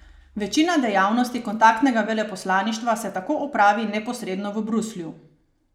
Večina dejavnosti kontaktnega veleposlaništva se tako opravi neposredno v Bruslju.